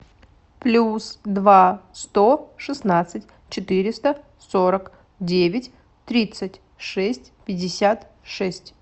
плюс два сто шестнадцать четыреста сорок девять тридцать шесть пятьдесят шесть